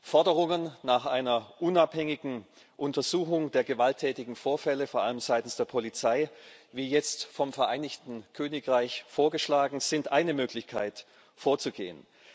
Forderungen nach einer unabhängigen Untersuchung der gewalttätigen Vorfälle vor allem seitens der Polizei, wie jetzt vom Vereinigten Königreich vorgeschlagen, sind eine Möglichkeit vorzugehen.